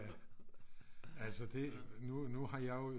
Ja altså det nu nu har jeg jo